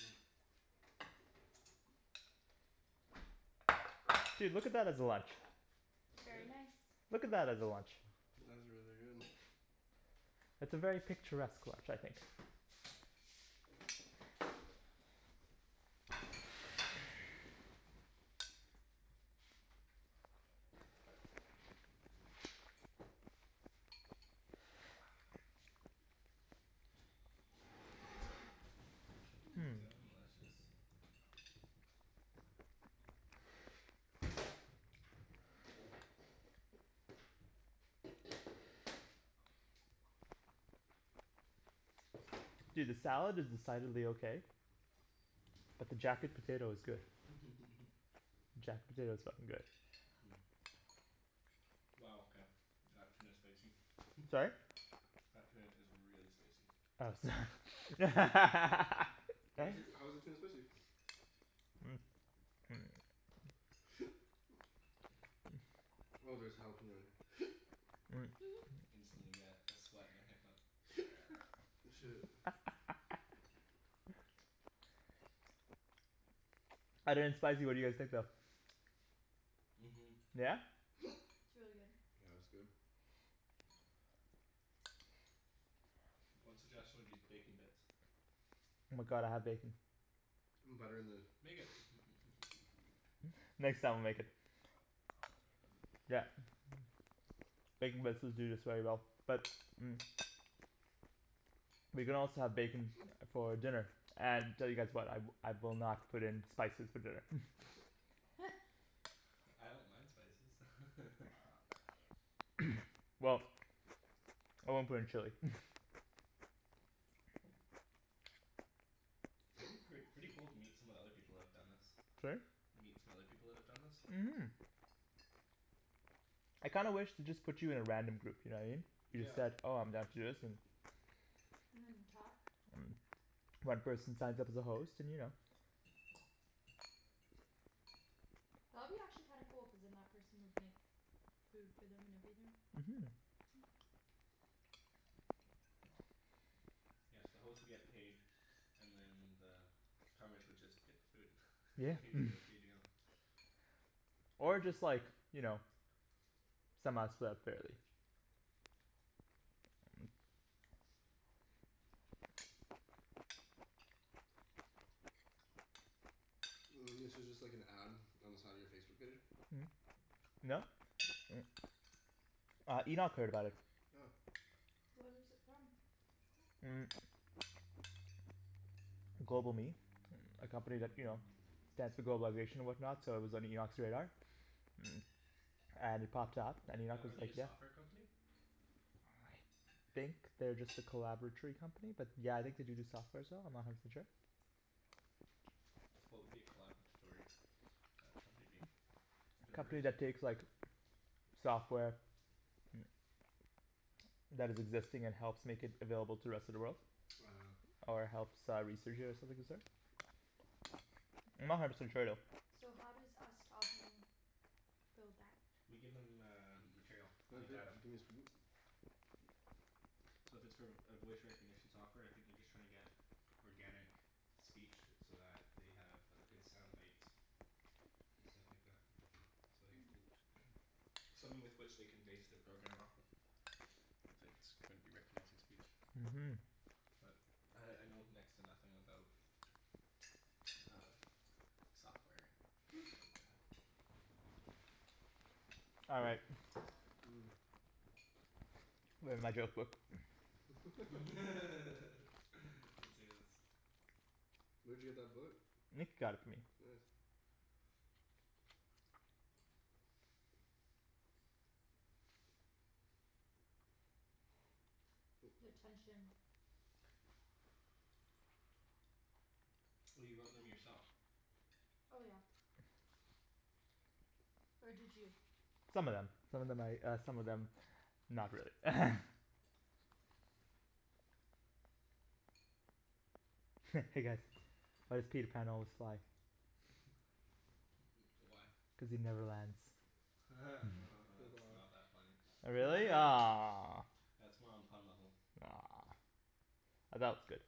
Mm. Dude, look at that as a lunch. That's good. Very nice. Look at that as a lunch. That is really good. It's a very picturesque lunch, I think. Mmm. Hmm Delicious. Dude, this salad is decidedly okay. But the jacket potato is good. Jacket potato is fucking good. Wow okay. That tuna's spicy. Sorry? That tuna is really spicy. Oh so Why is it, how is the tuna spicy? Oh there's jalapeno in here. Instantly get a sweat and a hiccup. Shit. Other than spicy what do you guys think though? Mhm. Yeah? It's really good. Yeah it's good. One suggestion would be bacon bits. Oh my god, I have bacon. Butter in the Make it Next time I'll make it. Yeah. Bacon bits would do this very well but We can also have bacon for dinner and tell you guys what, I I will not put in spices for dinner I don't mind spices Well I won't put in chili It'd be pret- pretty cool to meet some of the other people that have done this. Sorry? Meet some other people that have done this? Mhm. I kinda wish they just put you in a random group, you know what I mean? You just Yeah. said "oh I'm down to do this" and talk One person signs up as a host and you know That would be actually kinda cool cuz then that person would make food for them and everything. Mhm. Hmm Yeah so the host would get paid and then the would just get the food. Yeah Not even gonna feed you. Or just like you know somehow split up fairly. This is just like an ad on the side of your Facebook page? No. Uh, Enoch heard about it. Oh. Where is it from? GlobalMe A company that, you know globalization and whatnot so it was on Enoch's radar. And it popped up and Enoch Are was are they a like "yeah." software company? I think they're just a collaboratory company but yeah I think do do softwares though, I'm not a hundred percent sure. What would be a collaboratory Uh a company be? A Never Never company heard heard that that that term. takes term. like software that is existing and helps make it available to rest of the world. Uh Ah. Or helps uh research it or something of the sort. I'm not a hundred percent sure though. So how does us talking build that? We give them uh material. Like data. gimme a spoon? So if it's for a voice recognition software I think they're just trying to get organic speech so that they have good sound bites. And stuff like that. So like Hmm. something with which they can base their program off of. If it's going to be recognizing speech. Mhm. But I I know next to nothing about uh software and Hmm. stuff like that. All right. Mm. Where's my joke book? Let's hear this. Where'd you get that book? Nick got it for me. Nice. Oh, The sorry. tension. Oh you wrote them yourself. Oh yeah. Or did you? Some of them. Some of them Oh. I uh some of them not really Hey guys, why does Peter Pan always fly? Why? Cuz he never lands. That's Wow. not that funny. Oh really? Aw That's more on pun level. Aw I thought it was good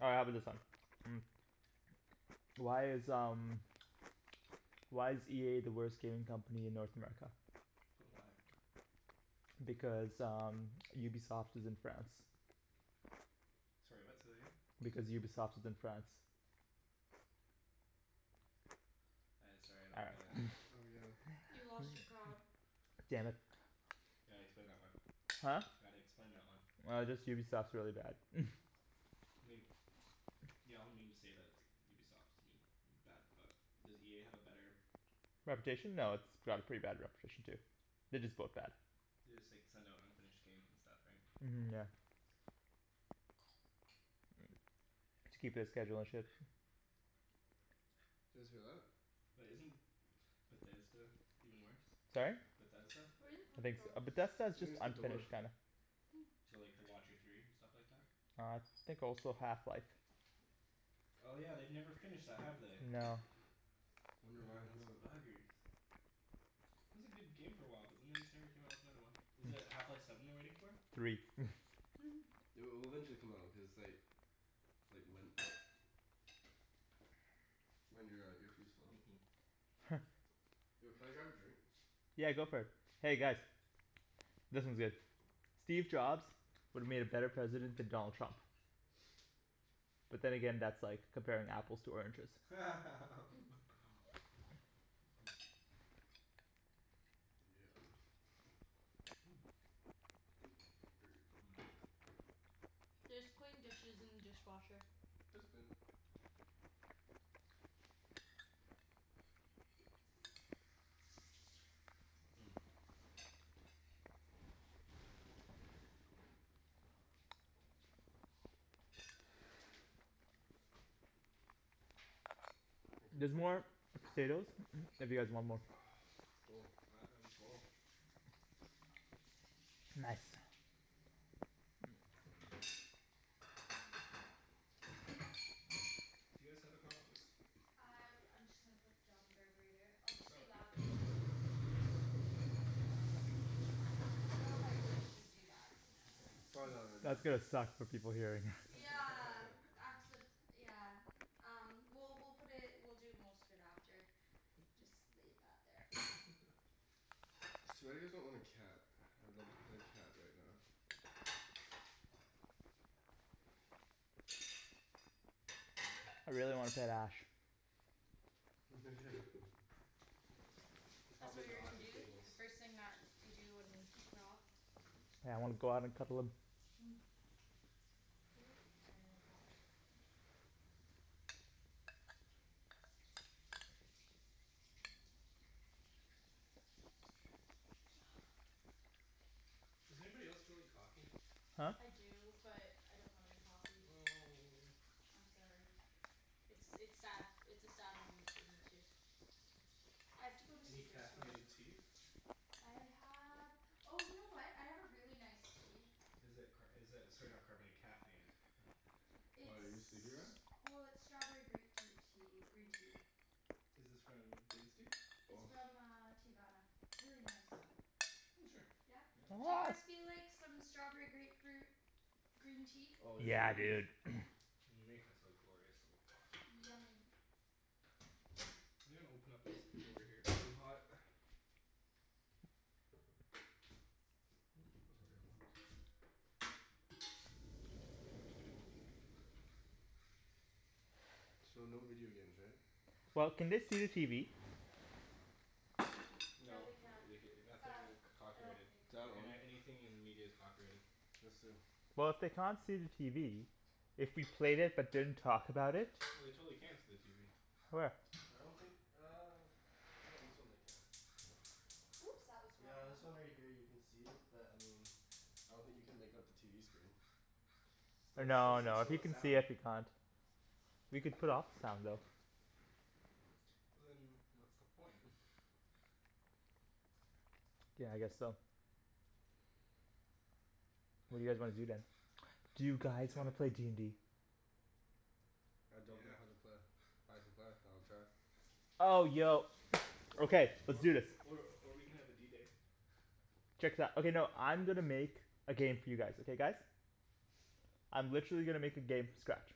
All right how about this one? Why is um why is EA the worst gaming company in North America? Why? Because um Ubisoft is in France. Sorry what? Say that again? Because Ubisoft is in France. I sorry I All don't get it. right Oh yeah. You lost your crowd. Damn it. You gotta explain that one. Huh? Gotta explain that one. Uh just Ubisoft's really bad I mean. Yeah all the memes say that it's Ubisoft is I mean bad but does EA have a better Reputation? No, it's Yeah they have a pretty bad reputation too. They're just both bad. They just like send out unfinished games and stuff right? Mhm yeah. To keep their schedule and shit. Did you guys hear that? But isn't Bethesda even worse? Sorry? Bethesda? Where is it I coming think s- . from? But Bethesda's I just think it's the door. unfinished kinda Hmm. So like The Watcher Three and stuff like that? I think also Half Life. Oh yeah, they've never finished that, have they? No. Wonder why, no. Those buggers. It was a good game for a while but then they just never came out with another one. Is it Half Life Seven they're waiting for? Three It'll it'll eventually come out, cuz it's like Like Ryan your uh earpiece fell out. Yo can I grab a drink? Yeah, go for it. Hey guys This one's good. Steve Jobs would've made a better president than Donald Trump. But then again, that's like comparing apples to oranges. Yeah. Oop, dirty. There's clean dishes in the dishwasher. It's clean. Thank you. There's more potatoes if you guys want more. I I'm full. Nice. Do you guys have a compost? I I'm just gonna put it down the garburator. I'll just be loud Oh. know if I should even do that. Probably That's not good, gonna no. suck for people hearing Yeah accid- yeah Um well we'll put it, we'll do most of it after. Just leave that there for now. It's too bad you guys don't own a cat. I would love to play with a cat right now. I really want a tight ash. Yeah. They're That's probably what you're not gonna the do? cables. The first thing that you do when we're off? Yeah I wanna go out and cuddle him. Hmm. Where's my water Does anybody else feel like coffee? Huh? I do but I don't have any coffee. Oh. I'm sorry. It's it's sad, it's a sad moment for me too. I have to go to Any Superstore. caffeinated tea? I have, oh you know what? I have a really nice tea. Is it car- is it sorry not carbona- caffeinated? Why, are you sleepy It's Ryan? well, it's strawberry grapefruit tea, green tea. Is this from David's Tea? It's from uh Teavana. It's really nice. Oh sure. Yeah Yeah? I'd love Do some. you guys feel like some strawberry grapefruit green tea? Oh, yes Yeah please. dude. Yeah. Make us a glorious little pot please. Yummy. I'm gonna open up this door here, it's really hot. So no video games, right? Well, can they see the TV? No No they can't. Uh. nothing c- copyrighted. That one. Any- anything in media is copyrighted. Just in. Well if they can't see the TV. If we played it but didn't talk about it. No they totally can see the TV. Where? I don't think uh I think on this one they can. Oops, that was the wrong Yeah, one. this one right here you can see it, but I mean I don't think you can make out the TV screen. But it's still No it's no. If still, you there's can see sound. it, we can't. We can put off the sound though. But then what's the point? Yeah I guess so. What do you guys wanna do then? Do you You guys wanna haven't play d n d? I don't know Yeah. how to play. I can play. I'll try. Oh yo. Or Okay, let's or do this. or or we can have a D day. Check this out. Okay no, I'm gonna make a game for you guys, okay guys? I'm literally gonna make a game from scratch.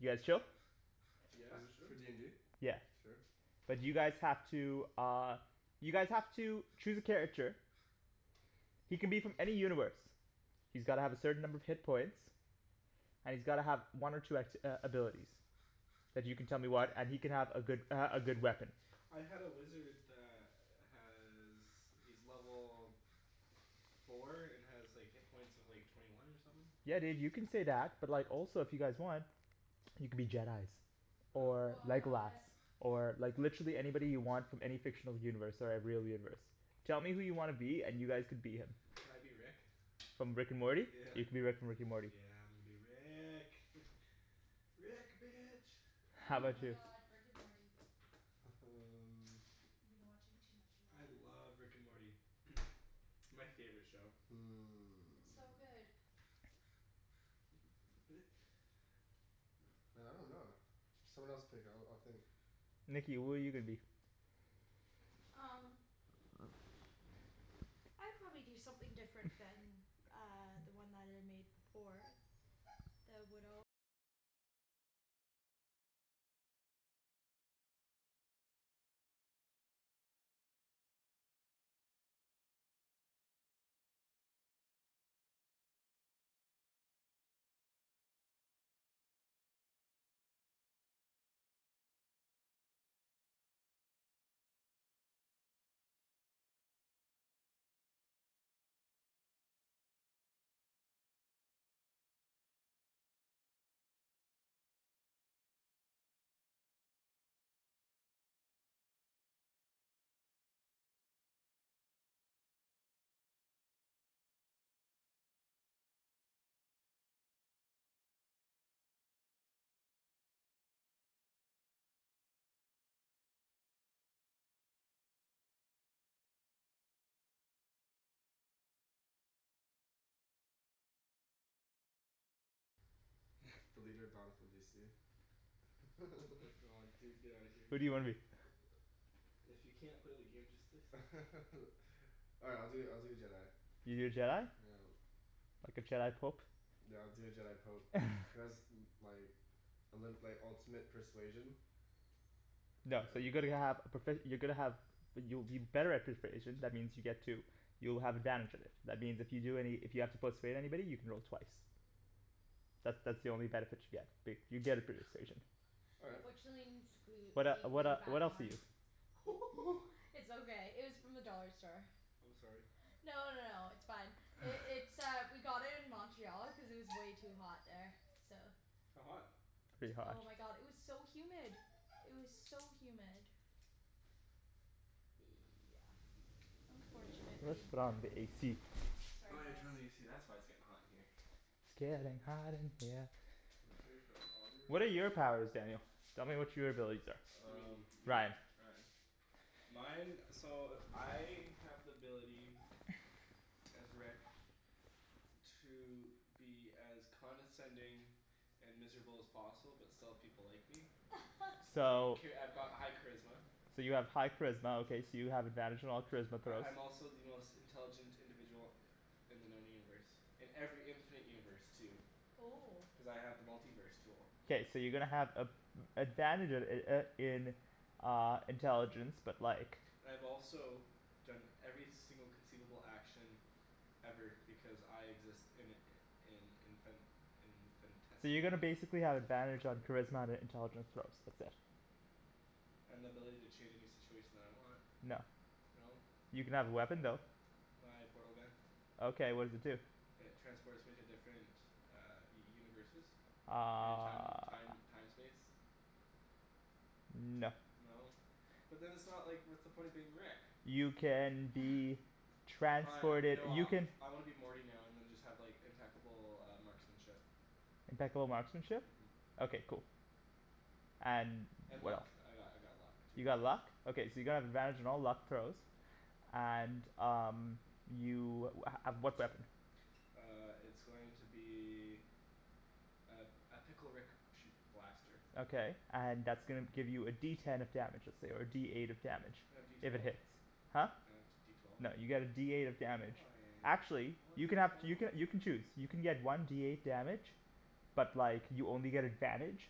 You guys chill? Yeah Is it sure. for d n d? Yeah. Sure. But you guys have to uh you guys have to choose a character. He can be from any universe. He's gotta have a certain number of hit points. And he's gotta have one or two act- uh abilities. And you can tell me Yeah. what and he can have a good uh a good weapon. I had a wizard that has, he's level four and has like hit points of like twenty one or somethin'. Yeah dude, you can say that. But like also if you guys want you can be Jedis. Or Legolas. What! Or like literally anybody you want from any fictional universe or real universe. Tell me who you wanna be and you guys can be him. Can I be Rick? From Rick and Morty? Yeah. You can be Rick from Rick and Morty. Yeah I'm gonna be Rick. Rick, bitch. How Oh 'bout Oh. my you? god. Rick and Morty. um I've been watching too much of I that love Rick and Morty. My favorite show. It's so good. Hmm Man I dunno. Someone else pick, I'll I'll think. Nikki, who are you gonna be? Um The leader of Oh my god dude, get out of here. You Who do you can't wanna be? If you can't play the game just say so. Alright I'll do I'll do a Jedi. You do a Jedi? Yeah. Like a Jedi pope? Yeah I'll do a Jedi pope. Cuz like and then like ultimate persuasion. No, so you're going to have profe- you're gonna have you'll you're better at persuasion. That means you get to you'll have advantage of it. That means if you do any, if you have to persuade anybody you can roll twice. That that's the only benefit you get, but you get a persuasion. All right. Unfortunately it needs to glue What it uh be what uh glued back what else are on. you? It's okay, it was from the dollar store. I'm sorry. No no no no, it's fine. It's uh we got it in Montreal because it was way too hot there, so How hot? Pretty hot. Oh my god, it was so humid! It was so humid. Yeah, Let's unfortunately. put on the AC. Sorry Oh yeah guys. turn on the AC, that's why it's getting hot in here. It's gettin' hot in here. So take off all your What are your clothes. powers, Daniel? Tell me what your abilities are. You Um mean me? Ryan Ryan. Mine, so I have the ability as Rick to be as condescending and miserable as possible, but still have people like me. So Okay, I've got high charisma. So you have high charisma okay, so you have advantage on all charisma corrals I'm also the most intelligent individual in the known universe. In every infinite universe too. Oh Cuz I have the multi-verse tool. K, so you're gonna have a- advantage uh uh in uh intelligence but like And I've also done every single conceivable action ever because I exist in in infin- So you're gonna infinitesimal basically have advantage on charisma and it intelligent throws. That's it. And the ability to change any situation that I want. No. No. You can have a weapon Aw though. My portal gun. Okay, what does it do? It transports me to different universes and time Uh time time space. No. No? But then it's not like, what's the point of being Rick? You can be Fine transported. no, You I can I wanna be Morty now and then just have impeccable uh marksmanship. Impeccable marksmanship? Mhm. Okay cool. And And what else? luck. I got I got luck too. You got luck? Okay so you're gonna have advantage on all luck throws. And um you uh uh what weapon? Uh it's going to be a a pickle Rick shoot blaster. Okay and that's gonna give you a D ten of damage, let's say, or a D eight of damage. Can I have D If it twelve? hits. Huh? Can I have D twelve? No, you get a D eight of damage. Why? Actually, I you wanted can to have throw. you can you can choose. You can get one D eight damage But like you only get advantage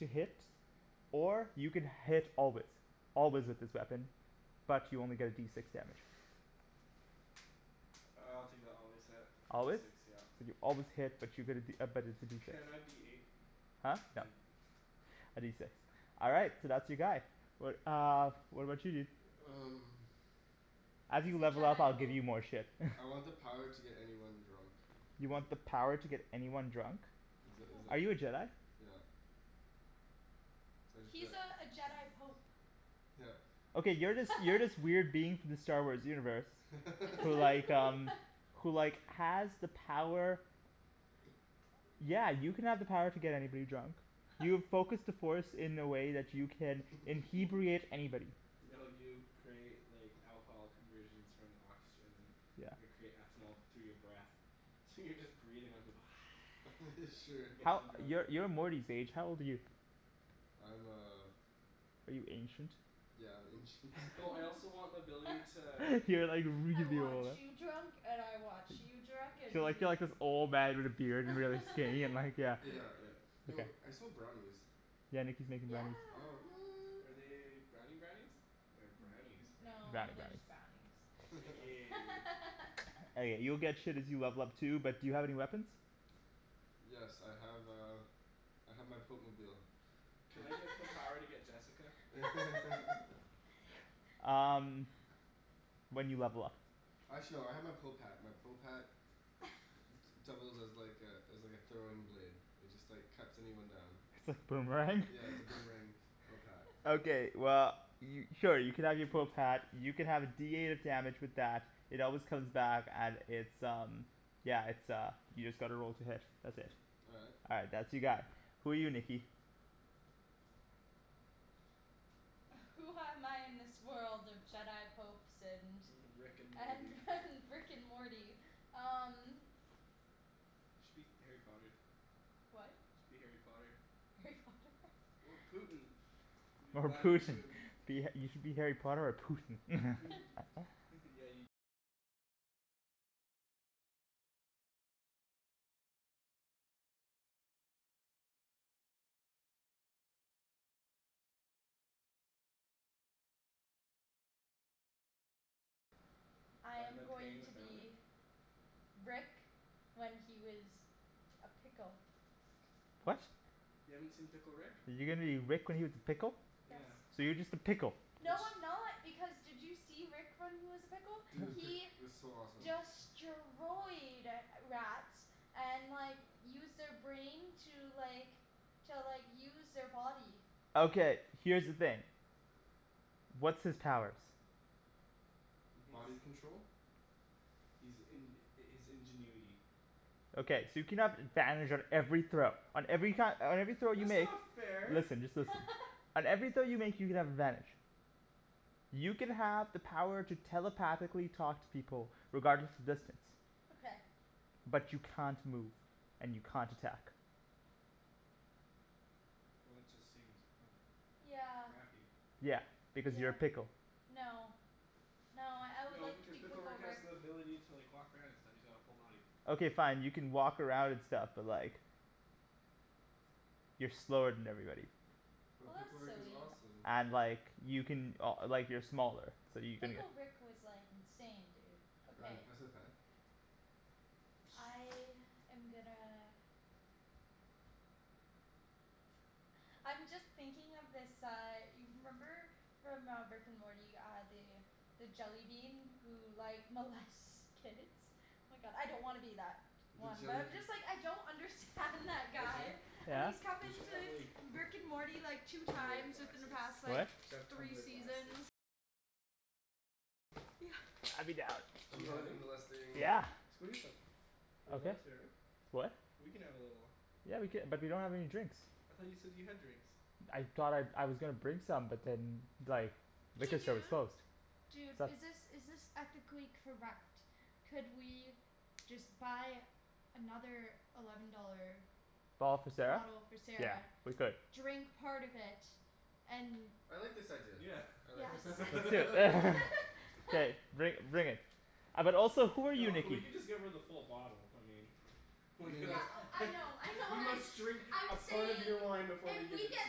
to hit or you can hit always. Always with this weapon, but you only get a D six damage. I'll take the always hit for D Always? six yep. So you always hit, but you get a D but it's a D six. Can I be eight? Huh? No. Can A D six. All right, so that's your guy. What uh what about you dude? Um As you He's a level up Jedi I'll give pope. you more shit I want the power to get anyone drunk. Is You it want the power to get anyone drunk? Is it is Are you a it, Jedi? yep So I just go He's like uh a Jedi pope. Yep. Okay, you're this you're this weird being from the Star Wars universe who like um who like has the power Yeah, you can have the power to get anybody drunk. You've focused the force in a way that you can "inhebriate" anybody. No you create like alcohol conversions from oxygen. Your Yeah. create ethanol through your breath. So you're just breathin' out you go Sure. and gettin' How, 'em drunk. you're you're Morty's age. How old are you? I'm uh Are you ancient? Yeah, I'm ancient. Oh I also want the ability to You're like "I really want old you huh drunk and I want you drunk, and You're like you you're like drunk." this old man with a beard and really skinny and like yeah. Yeah, yeah. Yo, I smell brownies. Yeah, Nikki's making Yeah. brownies. Oh what. Are they brownie brownies or brownie's brownie? No, Brownie they're brownies. just brownies. Aw, Nikki. Okay, you'll get shit as you level up too, but do you have any weapons? Yes I have uh I have my pope-mobile. Can I get the power to get Jessica? Um When you level up. K. Actually, no I have my pope hat. My pope hat d- d- doubles as like a as like a throwing blade. It just like cuts anyone down. It's a boomerang? Yeah, it's a boomerang pope hat. Okay well, y- oh you can have your pope hat. You can have a D eight of damage with that. It always comes back and it's um yeah, it's uh, you just gotta roll to hit. That's it. All right. All right, that's your guy. Who are you, Nikki? Who am I in this world of Jedi popes and Rick and Morty. and and Rick and Morty? Um Should be Harry Potter. What? Should be Harry Potter. Harry Potter? Or Putin. Be Or Vladimir Putin. Putin. You should be Harry Potter or Putin. I By the, am by paying going the to family? be Rick when he was a pickle. What? You haven't seen Pickle Rick? You're gonna be Rick when he was a pickle? Yes. Yeah. So you're just a pickle. It's No I'm not, because did you see Rick when he was a pickle? Dude, pi- He it was so awesome. destroyed rats and like used their brain to like to like use their body. Okay, here's the thing. What's his powers? Body control. He's in- his ingenuity. Okay, so you can have advantage on every throw on every ki- on every throw you That's make. not fair! Listen, just listen. On every throw you make you can have advantage. You can have the power to telepathically talk to people regardless of distance. Okay. But you can't move, and you can't attack. Well that just seems kind of Yeah. crappy. Yeah, because you're Yeah. a pickle. No. No, I would No like to because be Pickle Pickle Rick has Rick. the ability to like walk around and stuff. He's all full body. Okay fine, you can walk around and stuff, but like you're slower than everybody. But Well, Pickle that's Rick is silly. awesome. And like you can o- like you're smaller so you can Pickle Rick was like insane, dude, Ryan, okay. pass me the fan? I am gonna I'm just thinking of this uh y- remember from uh Rick and Morty uh the the jellybean who like molests kids The jellybeans Arjan, Yeah you should have like What? Yeah. I'd be down. Do And you mole- have any? molesting Yeah. Let's go eat them. We're Okay. allowed sharing? What? We can have a little Yeah we cou- but we don't have any drinks. I thought you said that you had drinks. I thought I, I was gonna bring some but then like Hey liquor store was dude, closed. dude is Sup? this is this ethically correct? Could we just buy another eleven dollar Bottle for Sarah? bottle for Yeah Sarah, we could. drink part of it, and I like this idea. Yeah. I like Yes this idea. Let's do it. K, bring bring it. Uh but also who are you No we Nikki? can just give her the full bottle, I mean I We mean gonna Yeah oh I know I we know, I'm must drink a I'm part of saying your wine before we if give we it get to